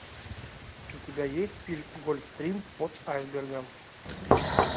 у тебя есть фильм гольфстрим под айсбергом